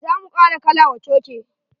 Za mu kara kala wa coke.